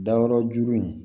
Dayɔrɔ ju in